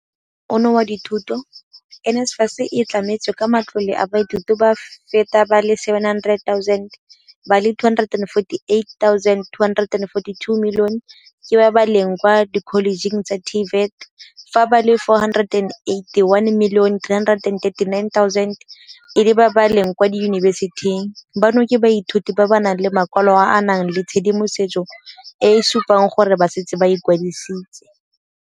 "Mo ngwageng ono wa dithuto, NSFAS e tlametse ka matlole baithuti ba feta ba le 700 000, ba le 248 242 ke ba ba leng kwa dikholejeng tsa TVET fa ba le 481 339 e le ba ba leng kwa diyunibesiti, bano ke baithuti ba ba nang le makwalo a a nang le tshedimosetso e e supang gore ba setse ba ikwadisitse."